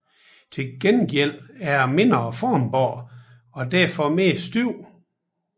Til gengæld er det mindre formbart og derfor mere stift